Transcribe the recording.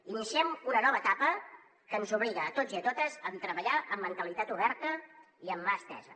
iniciem una nova etapa que ens obliga a tots i a totes a treballar amb mentalitat oberta i amb mà estesa